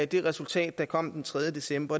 det resultat der kom den tredje december